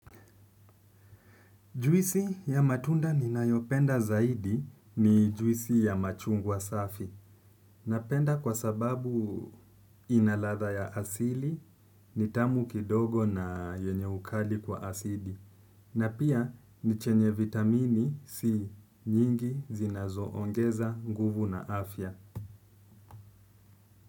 Juisi ya matunda ninayoipenda zaidi ni juisi ya machungwa safi napenda kwa sababu inaladha ya asili, ni tamu kidogo na yenye ukali kwa asidi. Na pia nichenye vitamini si nyingi zinazo ongeza nguvu na afya.